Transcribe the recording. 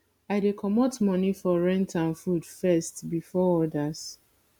i dey comot moni for rent and food first before odas